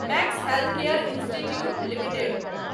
max Healthcare Institute limited